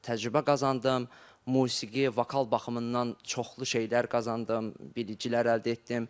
Təcrübə qazandım, musiqi, vokal baxımından çoxlu şeylər qazandım, biliklər əldə etdim.